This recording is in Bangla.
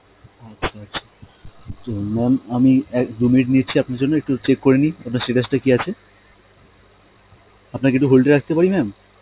আচ্ছা আচ্ছা, তো mam আমি এক~ দু minute নিচ্ছি আপনার জন্য একটু check করেনি আপনার status টা কি আছে, আপনাকে একটু hold এ রাখতে পারি mam?